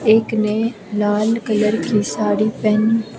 एक ने लाल कलर की साड़ी पहनी--